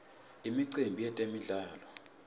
imicimbi yetemdlalo